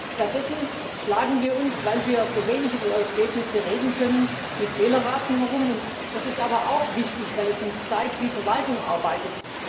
Stattdessen schlagen wir uns weil wir so wenig über Ergebnisse reden können mit Fehlerraten herum Das ist aber auch wichtig, weil es uns zeigt, wie Verwaltung arbeitet.